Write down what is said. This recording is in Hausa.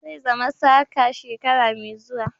Zai zama saka shekara mai zuwa.